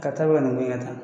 Ka taa nin ko in kɛ tan.